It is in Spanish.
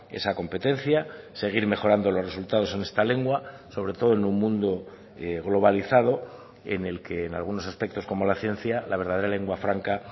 esa competencia seguir mejorando los resultados en esta lengua sobre todo en un mundo globalizado en el que en algunos aspectos como la ciencia la verdadera lengua franca